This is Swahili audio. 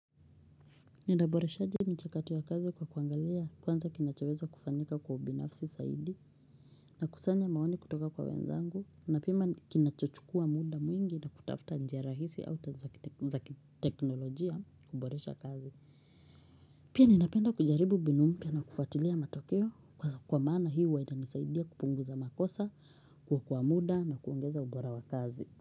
Nitaboreshaje michakato ya kazi kwa kuangalia kwanza kinachoweza kufanyika kwa ubinafsi saidi nakusanya maoni kutoka kwa wenzangu napima kinachochukua muda mwingi na kutafuta njia rahisi au tazakiteknolojia kuboresha kazi Pia ninapenda kujaribu mbinu mpia na kufatilia matokeo kwa mana hii huwa inanisaidia kupunguza makosa kuokoa muda na kuongeza ubora wa kazi.